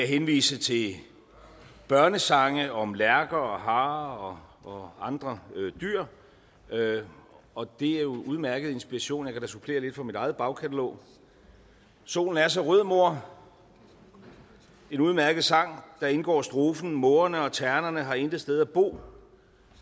henvise til børnesange om lærker og harer og andre dyr og det er jo udmærket inspiration jeg kan supplere lidt fra mit eget bagkatalog solen er så rød mor en udmærket sang og deri indgår strofen mågerne og ternerne har ingen sted at bo